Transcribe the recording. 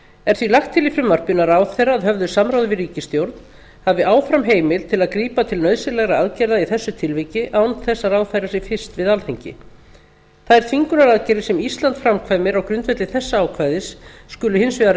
er því lagt til í frumvarpinu að ráðherra að höfðu samráði við ríkisstjórn hafi áfram heimild til að grípa til nauðsynlegra aðgerða í þessu tilviki án þess að ráðfæra sig fyrst við alþingi þær þvingunaraðgerðir sem ísland framkvæmir á grundvelli þessa ákvæðis skulu hins vegar